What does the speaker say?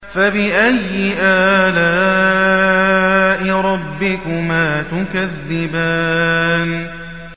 فَبِأَيِّ آلَاءِ رَبِّكُمَا تُكَذِّبَانِ